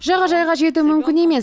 жағажайға жету мүмкін емес